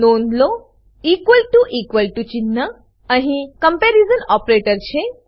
નોધ લો equal to equal to ચિન્હ અહી કમ્પેરિઝન ઓપરેટર છે